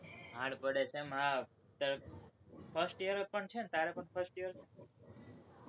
hard પડે છે એમ હા, તારે first year છે ને, તારે પણ first year છે ને?